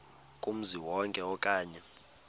kumzi wonke okanye